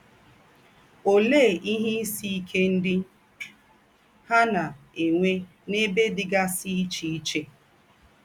Òlee ìhè ìsì íké ńdị hà na - ènwé n’ēbè dịgásị íché íché?